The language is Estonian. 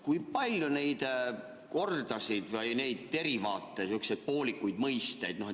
Kui palju neid kordasid või neid derivaate, sihukesi poolikuid mõisteid on?